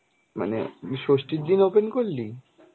মানে ষষ্ঠীর দিন open করলি?